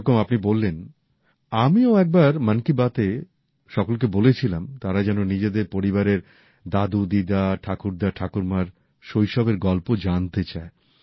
যেরকম আপনি বললেন আমিও একবার মন কি বাতে সকলকে বলেছিলাম তারা যেন নিজেদের পরিবারের দাদুদিদিমা ঠাকুরদাঠাকুরমার শৈশবের গল্প জানতে চায়